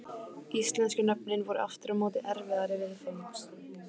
Íslensku nöfnin voru aftur á móti erfiðari viðfangs.